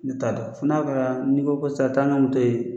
Ne t'a dɔn fo n'a kɛra n'i ko ko sisan taa ni n ka moto ye